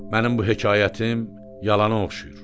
Mənim bu hekayətim yalana oxşayır.